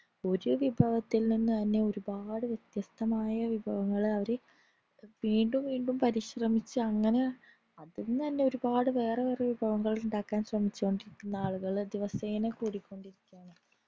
ഒര് വിഭവത്തിൽ നിന്ന് തന്നെ ഒരുപാട് വിത്യസ്തമായാ വിഭവങ്ങൾ അവർ വീണ്ടും വീണ്ടും പരിശ്രമിച്ചങ്ങനെ അതിൽ നിന്ന് തന്നെ ഒരുപാട് വേറെയൊരു വിഭവങ്ങൾ ഉണ്ടാക്കാൻ ശ്രമിച്ചോണ്ടിരിക്കുന്ന ആളുകള് ദിവസേന കൂടിക്കൊണ്ടിരിക്കാണ്